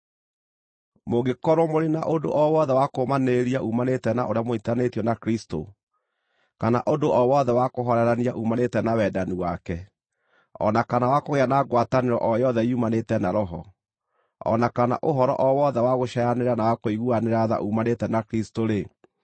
Mũngĩkorwo mũrĩ na ũndũ o wothe wa kũũmanĩrĩria uumanĩte na ũrĩa mũnyiitithanĩtio na Kristũ, kana ũndũ o wothe wa kũhoorerania uumanĩte na wendani wake, o na kana wa kũgĩa na ngwatanĩro o yothe yumanĩte na Roho, o na kana ũhoro o wothe wa gũcaayanĩra na wa kũiguanĩra tha uumanĩte na Kristũ-rĩ,